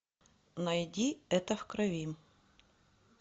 найди это в крови